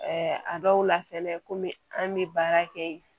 a dɔw la fɛnɛ kɔmi an bɛ baara kɛ yen